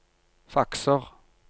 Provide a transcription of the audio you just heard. fakser